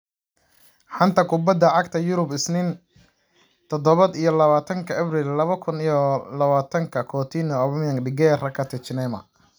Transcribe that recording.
Xanta Kubadda Cagta Yurub Isniin todoba iyo labatanka abriil laba kun iyo labatanka : Coutinho, Aubameyang, De Gea, Rakitic, Neymar